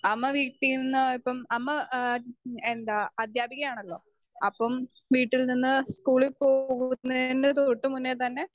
speaker 2 അമ്മ വീട്ടിൽന്ന് ഇപ്പം അമ്മ ഏഹ് എന്താ അദ്ധ്യാപികയാണല്ലോ.അപ്പം വീട്ടിൽ നിന്ന് സ്കൂളിൽ പോകുന്നേന് തൊട്ട്മുന്നേതന്നെ